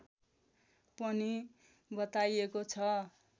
पनि बताइएको छ